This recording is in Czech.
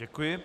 Děkuji.